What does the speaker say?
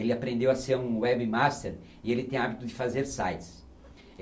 Ele aprendeu a ser um webmaster e ele tem hábito de fazer sites.